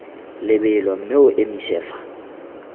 lebelo mme o emise fa